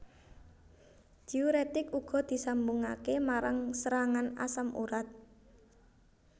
Diuretik uga disambungake marang serangan asam urat